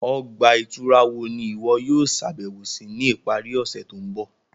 Ọgba-ìturá wo ni iwọ yóò ṣabẹwo si ni ipari ọse to nbọ?